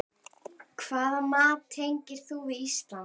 Hvaða mat tengir þú við Ísland?